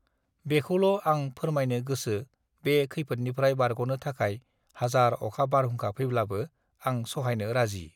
बेखौल आं फोरमायनो गोसो बे खैफोरनिफ्राय बारगनो थाखाय हाजार अखा बारहुंखा फैब्लाबो आं सहायनो राजि